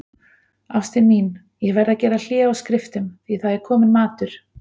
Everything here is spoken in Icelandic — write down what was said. Ástin mín, ég verð að gera hlé á skriftum, því það er kominn matur.